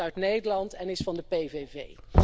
Hij komt uit Nederland en is van de PVV.